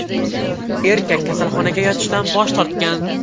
Erkak kasalxonaga yotishdan bosh tortgan.